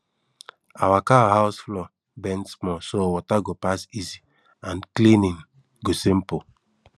our cow house floor bend small so water go pass easy and cleaning go simple